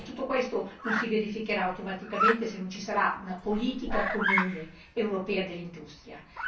Ma tutto questo non si verificherà automaticamente se non ci sarà una politica comune europea in materia industriale.